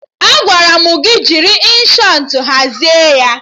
Agwara m gị jiri Inshọtụ hazie ya!